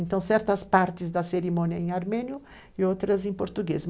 Então certas partes da cerimônia em armênio e outras em português.